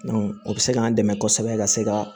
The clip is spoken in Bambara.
o bɛ se k'an dɛmɛ kosɛbɛ ka se ka